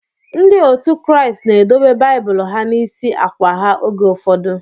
Ndị otu Kraịst na edobe Baịbụl ha n'isi akwa ha oge ụfọdụ.